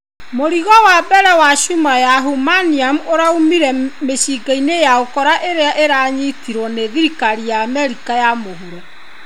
Mũrigo wa mbere wa cuma ya Humanium ũraumire mĩcinga-inĩ ya ũkora ĩrĩa ĩranyitirwo nĩ thirikari Amerika ya mũhuro.